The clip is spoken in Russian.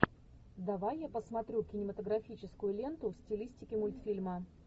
давай я посмотрю кинематографическую ленту в стилистике мультфильма